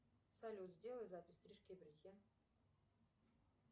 салют сделай запись стрижки и бритья